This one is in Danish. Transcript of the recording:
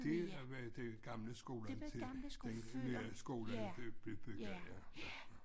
Det har været den gamle skolen til den nye skole blev blev bygget ja